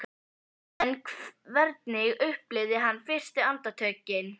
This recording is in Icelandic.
En hvernig upplifði hann fyrstu andartökin eftir slysið?